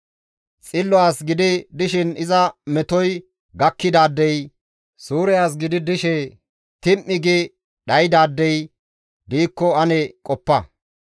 Xillo as gidi dishin iza metoy gakkidaadey, suure as gidi dishe tim7i gi dhaydaadey, diikko ane qoppa.